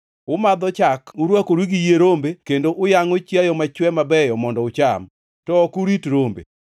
Umadho chak, urwakoru gi yie rombe kendo uyangʼo chiayo machwe mabeyo mondo ucham, to ok urit rombe.